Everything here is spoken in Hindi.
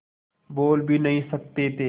बोल भी नहीं सकते थे